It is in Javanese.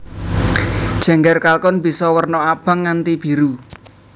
Jengger kalkun bisa werna abang nganti biru